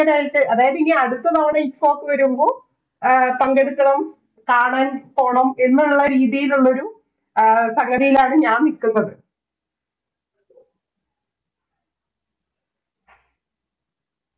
ങ്കരായിട് അതായത് ഇനി അടുത്ത തവണ ITFOK വരുമ്പോൾ ആഹ് പങ്കെടുക്കണം കാണാൻ പോണം എന്നുള്ള രീതിലുള്ളൊരു ആഹ് സംഗതിയിലാണ് ഞാൻ നിക്കുന്നത്